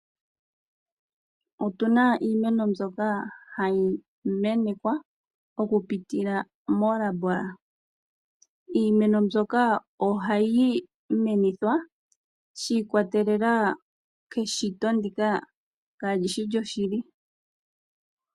Otuna iimeno mbyoka hayi menekwa oku pitila moolambola. Iimeno mbyoka ohayi menithwa shi ikwa telela keshito ndika ka li shi lyo shili.